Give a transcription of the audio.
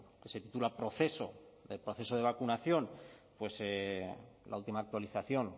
se titula proceso de vacunación la última actualización